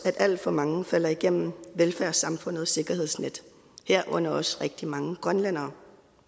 at alt for mange falder igennem velfærdssamfundets sikkerhedsnet herunder også rigtig mange grønlændere